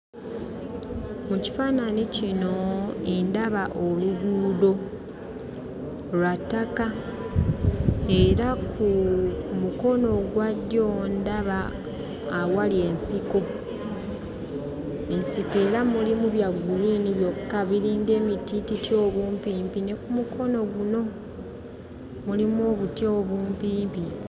Mu kifaananyi kino ndaba oluguudo, lwa ttaka era ku mukono ogwa ddyo ndaba awali ensiko. Ensiko era mulimu bya guliini byokka, biringa emitiititi obumpimpi, ne ku mukono guno mulimu obuti obumpimpi.